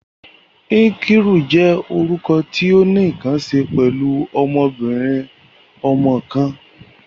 Nkiruka jẹ orukọ ti o ni nkan ṣe pẹlu ọmọbirin-ọmọ kan.